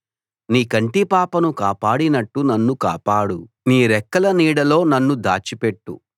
నీ కంటి పాపను కాపాడినట్టు నన్ను కాపాడు నీ రెక్కల నీడలో నన్ను దాచిపెట్టు